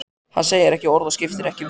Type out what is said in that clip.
Hann segir ekki orð, skiptir ekki um svip.